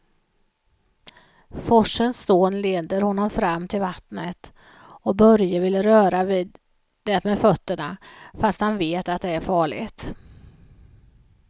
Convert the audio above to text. Forsens dån leder honom fram till vattnet och Börje vill röra vid det med fötterna, fast han vet att det är farligt.